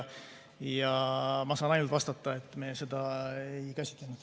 Ja ma saan ainult vastata, et me seda ei käsitlenud.